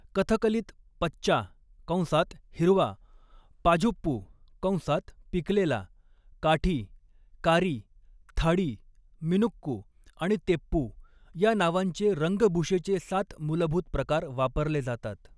कथकलीत पच्चा कंसात हिरवा, पाझुप्पू कंसात पिकलेला, काठी, कारी, थाडी, मिनुक्कू आणि तेप्पू या नावांचे रंगभूषेचे सात मूलभूत प्रकार वापरले जातात.